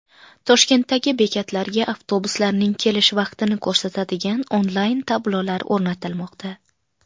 Toshkentdagi bekatlarga avtobuslarning kelish vaqtini ko‘rsatadigan onlayn-tablolar o‘rnatilmoqda .